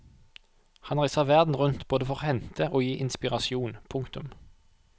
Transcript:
Han reiser verden rundt både for å hente og gi inspirasjon. punktum